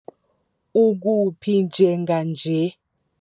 Ukuphi njenganje?